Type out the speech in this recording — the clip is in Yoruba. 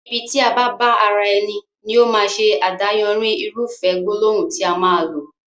Ibi tí a bá bá ara ẹni, ní ó máa ṣe adáyanri irúfẹ́ gbólóhùn tí a máa lò